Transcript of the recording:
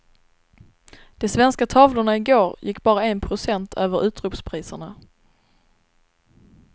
De svenska tavlorna i går gick bara en procent över utropspriserna.